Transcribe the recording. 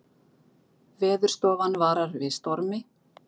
Veðurstofan varar við stormi